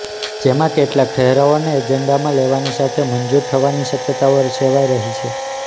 જેમાં કેટલાક ઠરાવોને એજન્ડામાં લેવાની સાથે મંજુર થવાની શકયતાઓ સેવાય રહી છે